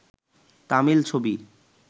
তামিল ছবি